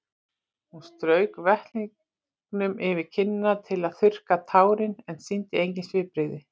Hún strauk vettlingnum yfir kinnina til þess að þurrka tárin en sýndi engin svipbrigði.